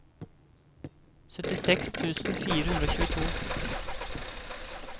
syttiseks tusen fire hundre og tjueto